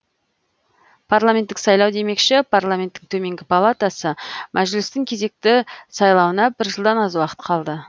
парламенттік сайлау демекші парламенттің төменгі палатасы мәжілістің кезекті сайлауына бір жылдан аз уақыт қалды